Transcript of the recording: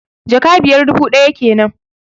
Jaka biyar, dubu ɗaya kenan